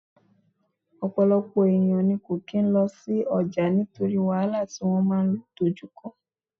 Ọ̀pọ̀lọpọ̀ èèyàn ní kò kín lọ sí ọjà nítorí wàhálà tí wọ́n máa dojú kọ